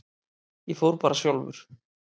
Ég fór bara sjálfur.